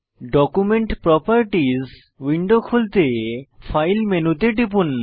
document properties window খুলতে file মেনুতে টিপুন